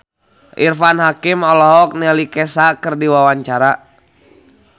Irfan Hakim olohok ningali Kesha keur diwawancara